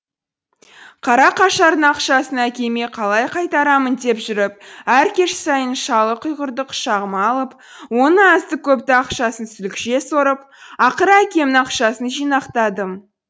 қара қашардың ақшасын әкеме қалай қайтарамын деп жүріп әр кеш сайын шалы құрғырды құшағыма алып оның азды көпті ақшасын сүлікше сорып ақыры әкемнің ақшасын жинақтадым